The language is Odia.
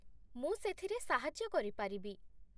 ମୁଁ ସେଥିରେ ସାହାଯ୍ୟ କରିପାରିବି।